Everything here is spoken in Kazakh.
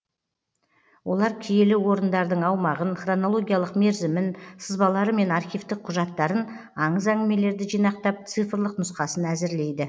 олар киелі орындардың аумағын хронологиялық мерзімін сызбалары мен архивтік құжаттарын аңыз әңгімелерді жинақтап цифрлық нұсқасын әзірлейді